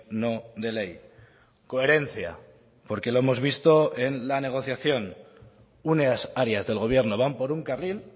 no de ley coherencia porque lo hemos visto en la negociación unas áreas del gobierno van por un carril